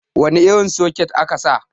wane irin soket aka sa